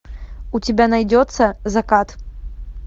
у тебя найдется закат